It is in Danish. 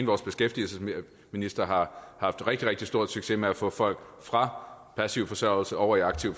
vores beskæftigelsesminister har haft rigtig rigtig stor succes med at få folk fra passiv forsørgelse over i aktiv